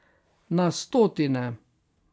Na stotine.